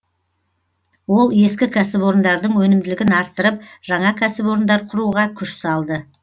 ол ескі кәсіпорындардың өнімділігін арттырып жаңа кәсіпорындар құруға күш салды